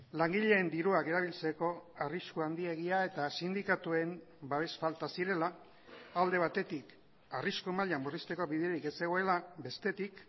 langileen dirua erabiltzeko arrisku handiegia eta sindikatuen babes falta zirela alde batetik arrisku maila murrizteko biderik ez zegoela bestetik